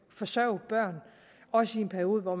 forsørge børn også i en periode hvor